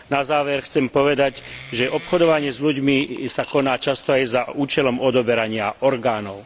Na záver chcem povedať, že obchodovanie s ľuďmi sa koná často aj za účelom odoberania orgánov.